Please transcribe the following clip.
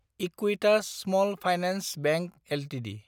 Equitas small finance bank Ltd